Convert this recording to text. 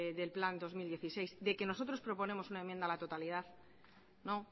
del plan dos mil dieciséis de que nosotros proponemos una enmienda a la totalidad no